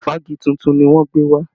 Ìfági tuntun ni wọ́n gbé wá